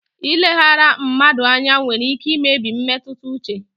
Ileghara mmadụ anya nwere ike imebi mmetụta uche.